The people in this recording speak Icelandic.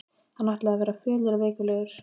Hann ætlaði að verða fölur og veiklulegur.